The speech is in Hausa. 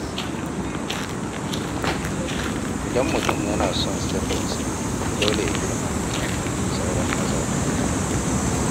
Idan mutum yana son sirrinsa, dole ya girmama bukatun sauran mazauna gida.